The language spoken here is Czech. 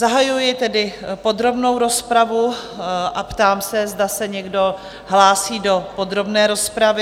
Zahajuji tedy podrobnou rozpravu a ptám se, zda se někdo hlásí do podrobné rozpravy?